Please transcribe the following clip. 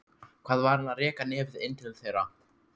Hvað var hann að reka nefið inn til þeirra?